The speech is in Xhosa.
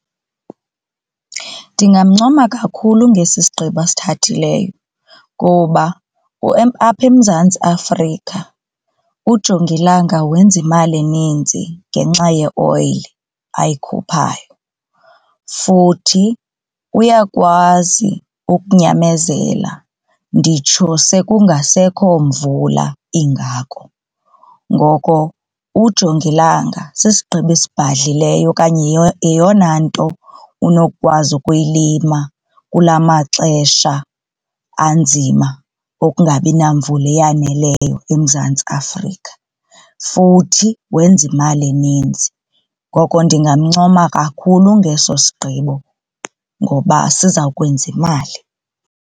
Ndingamncoma kakhulu ngesi sigqibo asithathileyo ngoba apha eMzantsi Afrika ujongilanga wenza imali eninzi ngenxa yeoyile ayikhuphayo futhi uyakwazi ukunyamezela nditsho sekungasekho mvula ingako. Ngoko ujongilanga sisigqibo esibhadlileyo okanye yeyona nto unokukwazi ukuyilima kula maxesha anzima okungabinamvula eyaneleyo eMzantsi Afrika futhi wenza imali eninzi. Ngoko ndingamncoma kakhulu ngeso sigqibo ngoba siza kwenza imali.